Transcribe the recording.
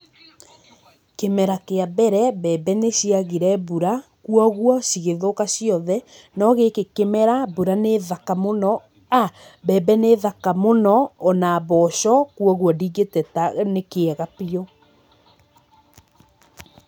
Kĩmera kĩa mbere, mbembe nĩciagire mbura, kwoguo, cigĩthũka ciothe, no gĩkĩ kĩmera, mbura nĩ thaka mũno, a mbembe nĩ thaka mũno, ona mboco, kwoguo ndingĩteta nĩ kĩega biũ.